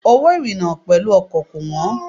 Owó ìrìna pẹ̀lú ọkọ̀ kò wọ́n.